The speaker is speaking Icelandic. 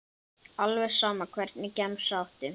Alveg sama Hvernig gemsa áttu?